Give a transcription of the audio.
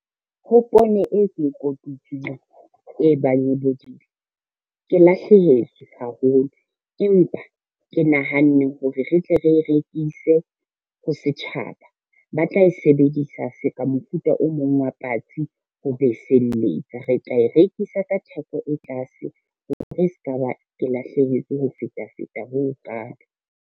Ho poone e ke kotutseng e bang e bodile. Ke lahlehetswe haholo empa ke nahanne hore re tle re rekise ho setjhaba, ba tla e sebedisa se ka mofuta o mong wa patsi ho beseletsa, re tla e rekisa ka theko e tlase hore e se ka ba ke lahlehetswe ho feta feta ho ho kalo.